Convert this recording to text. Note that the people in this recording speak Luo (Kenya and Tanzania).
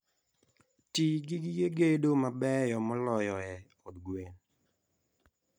Ti gi gige gedo mabeyo moloyoe od gwen.